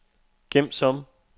gem som